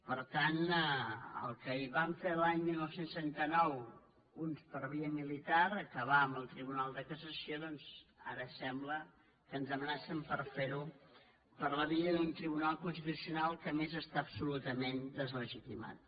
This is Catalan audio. per tant el que van fer l’any dinou trenta nou uns per via militar acabar amb el tribunal de cassació doncs ara sembla que ens amenacen de fer ho per la via d’un tribunal constitucional que a més està absolutament deslegitimat